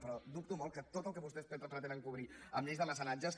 però dubto molt que tot el que vostès pretenen cobrir amb lleis de mecenatges